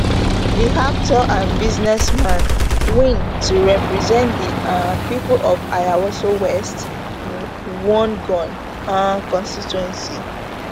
di actor and businessman win to represent di um pipo of ayawaso west wuogon um constituency